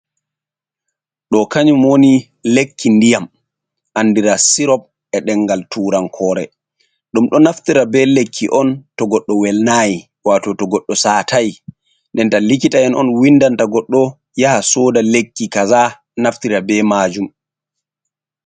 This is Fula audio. Ɗo kanyum woni lekki ndiyam andira sirop e'ɗengal turankore. Ɗum ɗo naftira be lekki on to goɗɗo welnayi wato to goɗɗo satai. Nden ta likita'en on windanta goɗɗo yaha soda lekki kaza naftira be maajum.